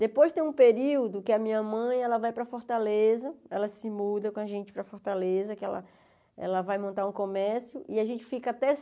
Depois tem um período que a minha mãe, ela vai para Fortaleza, ela se muda com a gente para Fortaleza, que ela ela vai montar um comércio, e a gente fica até